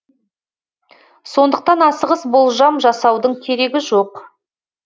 сондықтан асығыс болжам жасаудың керегі жоқ